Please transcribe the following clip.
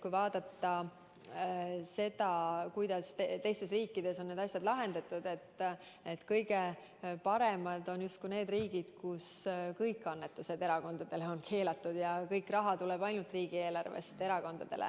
Kui vaadata seda, kuidas teistes riikides on need asjad lahendatud, siis näeme, et kõige paremad on justkui need riigid, kus kõik annetused erakondadele on keelatud ja kogu raha erakondadele tuleb ainult riigieelarvest.